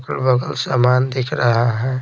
बहुत सामान दिख रहा है।